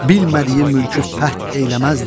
Bilmədiyi mülkü fəth eyləməzdi.